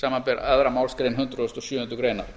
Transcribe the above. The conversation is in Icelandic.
samanber aðra málsgrein hundrað og sjöundu greinar